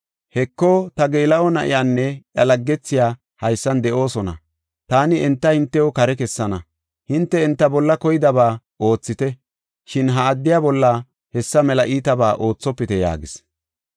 Heko, ta geela7o na7iyanne iya laggethiya haysan de7oosona. Taani enta hintew kare kessana; hinte enta bolla koydaba oothite; shin ha addiya bolla hessa mela iitabaa oothopite” yaagis.